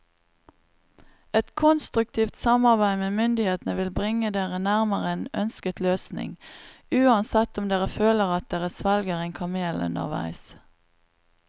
Et konstruktivt samarbeid med myndighetene vil bringe dere nærmere en ønsket løsning, uansett om dere føler at dere svelger en kamel underveis.